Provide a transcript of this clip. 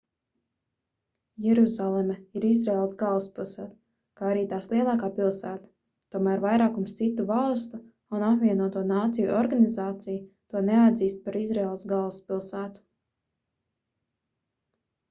jeruzaleme ir izraēlas galvaspilsēta kā arī tās lielākā pilsēta tomēr vairākums citu valstu un apvienoto nāciju organizācija to neatzīst par izraēlas galvaspilsētu